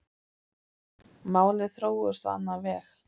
Málin þróuðust á annan veg.